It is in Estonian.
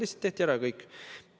Lihtsalt tehti ära, ja kõik.